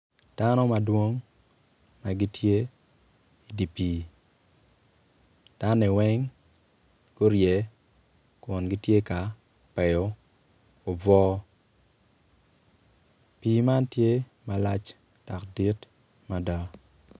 Dano madwong ma gitye idi pii danoni weng gurye kun gitye ka peyo obwo pii man tye malac dok dit mada.